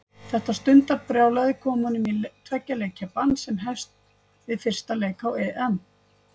Þetta stundarbrjálæði kom honum í tveggja leikja bann sem hefst við fyrsta leik á EM.